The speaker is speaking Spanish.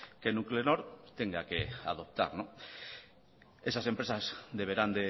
que nuclenor tenga que adoptar esas empresas deberán